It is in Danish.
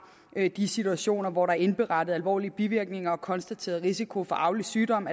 de situationer hvor der er indberettet alvorlige bivirkninger og konstateret risiko for arvelig sygdom